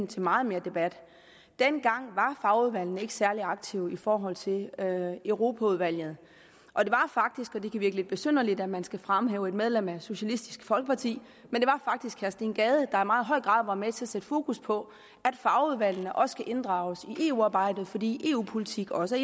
til meget mere debat dengang var fagudvalgene ikke særlig aktive i forhold til europaudvalget det kan virke lidt besynderligt at man skal fremhæve et medlem af socialistisk folkeparti men det var faktisk herre steen gade der i meget høj grad var med til at sætte fokus på at fagudvalgene også kunne inddrages i eu arbejdet fordi eu politik også